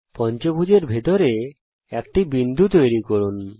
পঞ্চভূজ এর ভেতরে একটি বিন্দু তৈরি করুন